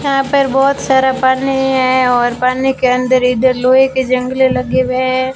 यहां पर बहुत सारा पानी है और पानी के अंदर इधर लोहे के जंगले लगे हुए हैं।